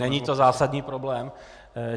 Není to zásadní problém.